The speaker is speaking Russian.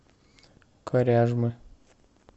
коряжмы